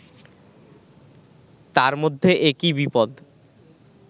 তার মধ্যে একি বিপদ